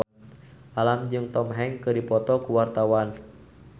Alam jeung Tom Hanks keur dipoto ku wartawan